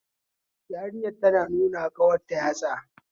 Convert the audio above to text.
Yarinyar tana nunawa ƙawarta yatsa